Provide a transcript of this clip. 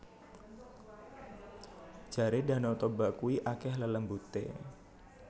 Jare Danau Toba kui akeh lelembute